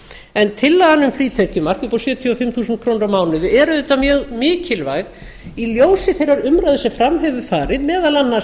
en tillagan um frítekjumark upp á sjötíu og fimm þúsund krónur á mánuði er auðvitað mjög mikilvæg í ljósi þeirrar umræðu sem fram hefur farið meðal annars